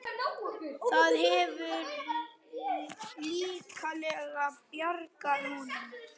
Það hefur líklega bjargað honum.